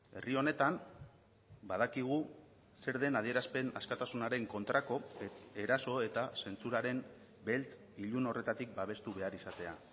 herri honetan badakigu zer den adierazpen askatasunaren kontrako eraso eta zentsuraren beltz ilun horretatik babestu behar izatea